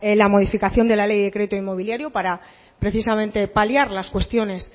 la modificación de la ley de crédito inmobiliario para precisamente paliar las cuestiones